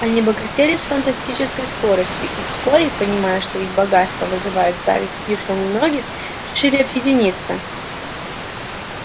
они богатели с фантастической скоростью и вскоре понимая что их богатство вызывает зависть слишком у многих решили объединиться